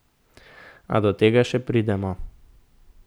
A do tega še pridemo.